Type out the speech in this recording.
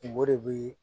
Kungo de be ye